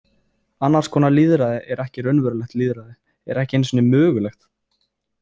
Annars konar lýðræði er ekki raunverulegt lýðræði, er ekki einu sinni mögulegt.